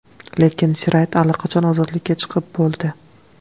Lekin Sirayt allaqachon ozodlikka chiqib bo‘ldi.